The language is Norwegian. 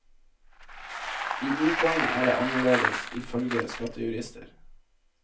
I utlandet er det annerledes, ifølge skattejurister.